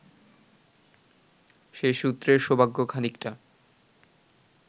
সে সূত্রে সৌভাগ্য খানিকটা